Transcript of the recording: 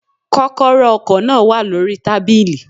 Kókóró ọkò náà wà lórí i tábìlì